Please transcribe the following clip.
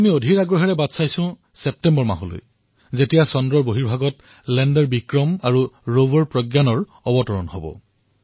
এতিয়া আমি অধীৰ আগ্ৰহেৰে ছেপ্টেম্বৰ মাহলৈ অপেক্ষা কৰি আছো যেতিয়া চন্দ্ৰপৃষ্ঠত লেণ্ডাৰ বিক্ৰম আৰু ৰোভাৰ প্ৰজ্ঞানে অৱতৰণ কৰিব